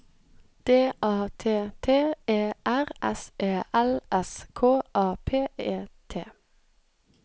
D A T T E R S E L S K A P E T